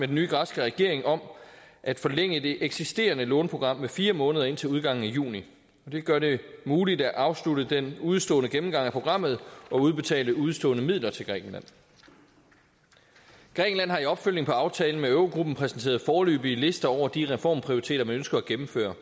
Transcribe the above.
den nye græske regering om at forlænge det eksisterende låneprogram med fire måneder indtil udgangen af juni det gør det muligt at afslutte den udestående gennemgang af programmet og udbetale udestående midler til grækenland grækenland har i opfølgningen på aftalen med eurogruppen præsenteret foreløbige lister over de reformprioriteter man ønsker at gennemføre